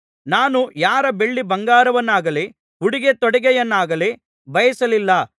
ನಾನು ಯಾರ ಬೆಳ್ಳಿಬಂಗಾರವನ್ನಾಗಲಿ ಉಡಿಗೆತೊಡಿಗೆಯನ್ನಾಗಲಿ ಬಯಸಲಿಲ್ಲ